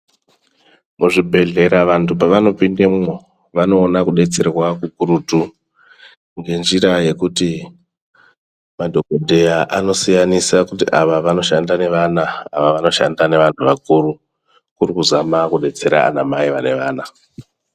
Muzvibhedhlera vantu vanopinde mo, vanowana kubetserwa kukurutu ngenzira yekuti, madhokoteya anosiyanisa ngekuti ava vanoshanda nevana, ava vanoshanda nevahnu vakuru. Kurikuzama kudetsera anamai vevana.